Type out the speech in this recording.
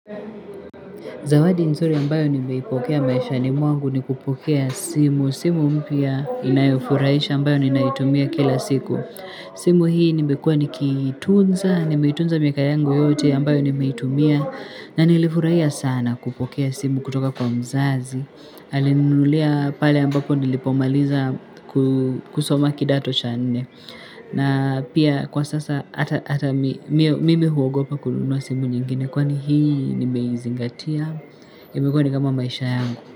Zawadi nzuri ambayo nimeipokea maisha ni mwangu ni kupokea simu. Simu mpya inayofurahisha ambayo ninaitumia kila siku. Simu hii nimekuwa nikiitunza, nimeitunza miaka yangu yote ambayo nimeitumia na nilifurahia sana kupokea simu kutoka kwa mzazi. Alininunulia pale ambapo nilipomaliza kusoma kidato chane. Na pia kwa sasa hata mimi mimi huogopa kununua simu nyingine kwani hii nimeizingatia imekuwa ni kama maisha yangu.